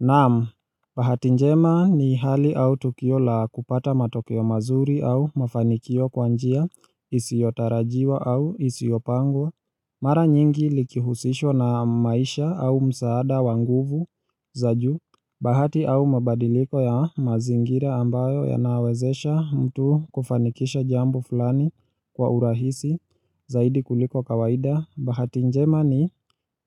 Naam, bahati njema ni hali au tukio la kupata matokeo mazuri au mafanikio kwa njia isiyotarajiwa au isiyopangwa Mara nyingi likihusishwa na maisha au msaada wa nguvu za juu, bahati au mabadiliko ya mazingira ambayo yanawezesha mtu kufanikisha jambo fulani kwa urahisi zaidi kuliko kawaida. Bahati njema ni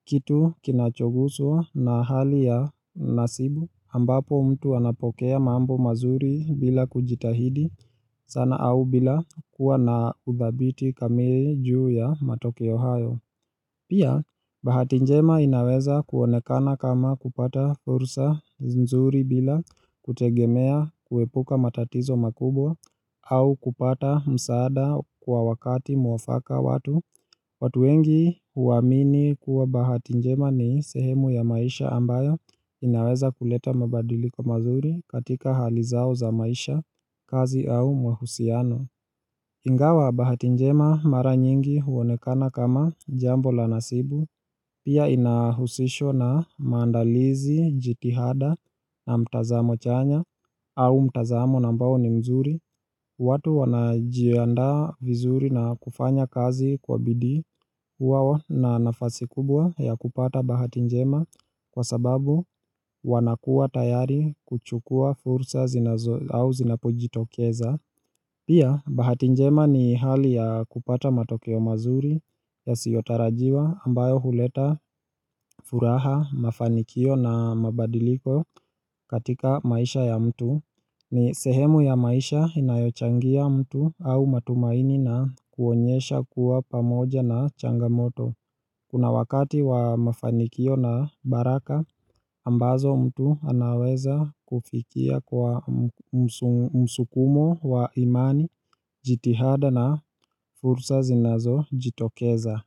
kitu kinachoguswa na hali ya nasibu ambapo mtu anapokea mambo mazuri bila kujitahidi sana au bila kuwa na ubabiti kamili juu ya matokeo hayo. Pia bahati njema inaweza kuonekana kama kupata fursa nzuri bila kutegemea, kuepuka matatizo makubwa au kupata msaada kwa wakati mwafaka watu watu wengi huamini kuwa bahati njema ni sehemu ya maisha ambayo inaweza kuleta mabadiliko mazuri katika hali zao za maisha, kazi au mahusiano Ingawa bahati njema mara nyingi huonekana kama jambo la nasibu Pia inahusishwa na maandalizi, jitihada na mtazamo chanya, au mtazamo ambao ni mnzuri watu wanajiandaa vizuri na kufanya kazi kwa bidii Hua na nafasi kubwa ya kupata bahati njema kwa sababu wanakua tayari kuchukua fursa au zinapojitokeza Pia bahati njema ni hali ya kupata matokeo mazuri yasiotarajiwa ambayo huleta furaha, mafanikio na mabadiliko katika maisha ya mtu. Ni sehemu ya maisha inayochangia mtu au matumaini na kuonyesha kuwa pamoja na changamoto. Kuna wakati wa mafanikio na baraka ambazo mtu anaweza kufikia kwa msukumo wa imani jitihada na fursa zinazojitokeza.